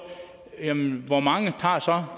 hvor mange